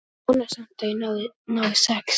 Vona samt að ég nái sex.